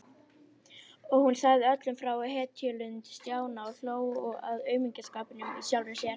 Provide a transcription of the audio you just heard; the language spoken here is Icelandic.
Og hún sagði öllum frá hetjulund Stjána og hló að aumingjaskapnum í sjálfri sér.